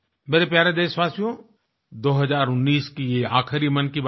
मेरे प्यारे देशवासियो 2019 की ये आख़िरी मन की बात है